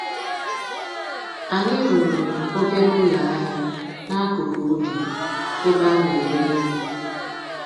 Anyi rụrụ obere ụlọ ahịa n'akụkụ ubi ebe a na-ere ihe